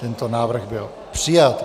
Tento návrh byl přijat.